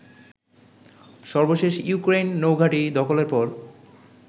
সর্বশেষ ইউক্রেইন নৌঘাঁটি দখলের পর